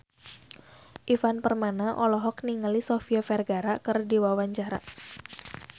Ivan Permana olohok ningali Sofia Vergara keur diwawancara